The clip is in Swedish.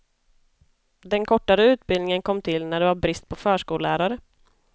Den kortare utbildningen kom till när det var brist på förskollärare.